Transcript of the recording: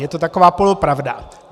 Je to taková polopravda.